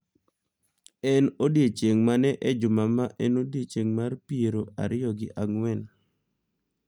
En odiechieng’ mane e juma ma en odiechieng’ mar piero ariyo gi ang’wen?